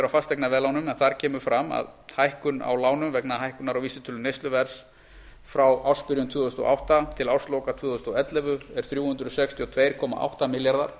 fasteignaveðlánum en þar kemur fram að hækkun á lánum vegna hækkunar á vísitölu neysluverðs frá ársbyrjun tvö þúsund og átta til ársloka tvö þúsund og ellefu er þrjú hundruð sextíu og tvö komma átta milljarðar